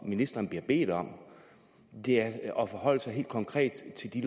ministeren bliver bedt om er er at forholde sig helt konkret til de